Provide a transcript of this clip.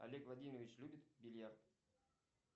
олег владимирович любит бильярд